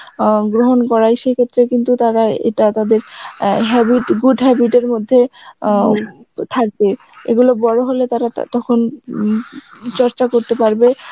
আ গ্রহণ করাই, সে ক্ষেত্রে কিন্তু এটা তাদের অ্যাঁ habit good habit এর মধ্যে অ্যাঁ থাকবে এগুলো বড় হলে তারা তখন উম চর্চা করতে পারবে